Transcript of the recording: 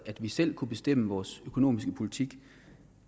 at vi selv kan bestemme vores økonomiske politik